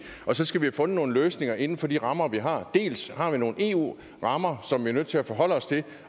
og så skal vi have fundet nogle løsninger inden for de rammer vi har dels har vi nogle eu rammer som vi er nødt til at forholde os til